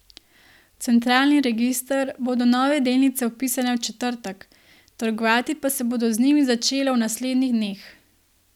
V centralni register bodo nove delnice vpisane v četrtek, trgovati pa se bo z njimi začelo v naslednjih dneh.